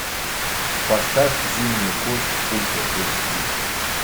поставь зимняя кость ультра эйч ди